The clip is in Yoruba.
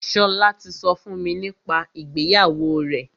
Ṣọlá ti sọ fún mi nípa ìgbéyàwó rẹ̀.